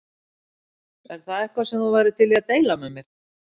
Er það eitthvað sem þú værir til í að deila með mér?